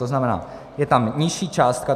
To znamená, je tam nižší částka.